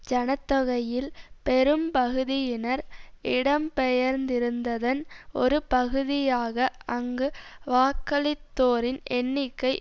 ஜன தொகையில் பெரும்பகுதியினர் இடம்பெயர்ந்திருந்ததன் ஒரு பகுதியாக அங்கு வாக்களித்தோரின் எண்ணிக்கை